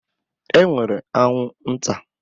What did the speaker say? E nwere anwụ nta.